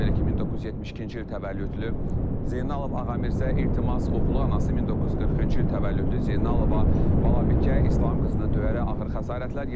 Belə ki, 1972-ci il təvəllüdlü Zeynalov Ağamirzə, İltimas oğlu anası 1940-cı il təvəllüdlü Zeynalova Balabikə İslam qızını döyərək ağır xəsarətlər yetirib.